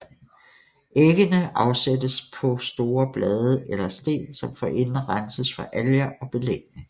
Æggende afsættes på store blade eller sten som forinden renses for alger og belægning